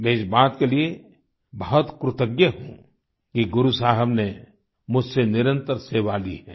मैं इस बात के लिए बहुत कृतज्ञ हूँ कि गुरु साहिब ने मुझसे निरंतर सेवा ली है